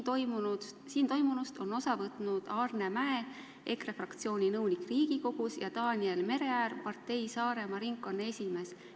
Siin toimunust on osa võtnud Aarne Mäe, EKRE fraktsiooni nõunik riigikogus, ja Daniel Mereäär, partei Saaremaa ringkonna esimees.